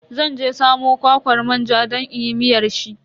Zan je samo kwakwar manja don inyi miyar shi.